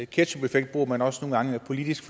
ketchupeffekt bruger man også nogle gange politisk